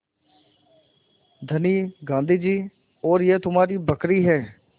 धनी गाँधी जी और यह तुम्हारी बकरी है